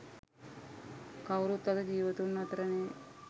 කවුරුත් අද ජීවතුන් අතර නෑ.